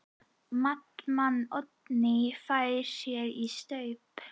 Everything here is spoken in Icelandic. Maddama Oddný fær sér í staup.